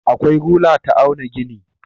Akwai rula ta auna gini.